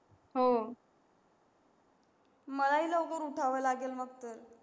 मला ही लवकर उठाव लागेल मग तर.